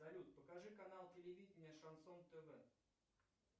салют покажи канал телевидения шансон тв